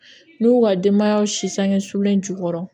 N'u y'u ka denbayaw si sange sulen jukɔrɔ